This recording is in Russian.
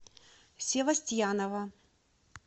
севастьянова